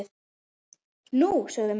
Nú? sögðu menn.